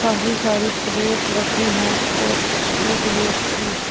काफी सारी प्लेट रखी है और एक व्यक्ति--